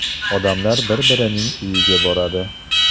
Odamlar bir-birining uyiga boradi.